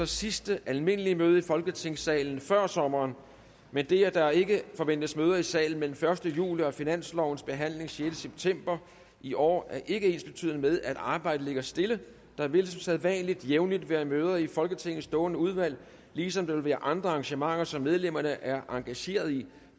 sidste almindelige møde i folketingssalen før sommeren men det at der ikke forventes møder i salen mellem den første juli og finanslovens behandling den sjette september i år er ikke ensbetydende med at arbejdet ligger stille der vil som sædvanlig jævnligt være møder i folketingets stående udvalg ligesom der vil være andre arrangementer som medlemmerne er engageret i